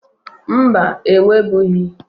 Mba, enwebughi.